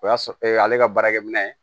O y'a sɔrɔ ale ka baarakɛminɛ